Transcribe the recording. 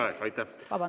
Vabandust!